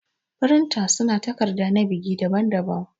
Firinta su na takarda na biki daɓan daɓan.